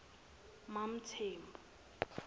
mamthembu